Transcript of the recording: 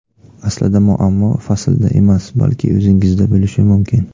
Aslida, muammo faslda emas, balki o‘zingizda bo‘lishi mumkin.